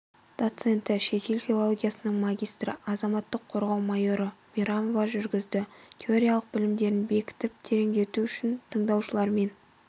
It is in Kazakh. доценті шетел филологиясының магистрі азаматтық қорғау майоры мейрамова жүргізді теориялық білімдерін бекітіп тереңдету үшін тыңдаушылармен